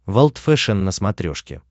волд фэшен на смотрешке